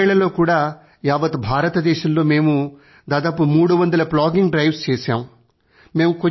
గత రెండేళ్ళలో కూడా యావత్ భారతదేశంలో మేము 300 ప్లాగింగ్ డ్రైవ్స్ చేశాము